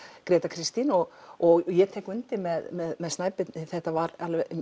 Gréta Kristín og og ég tek undir með Snæbirni þetta var